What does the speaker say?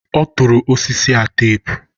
ọ tụrụ osisi a teepu.